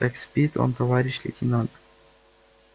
так спит он товарищ лейтенант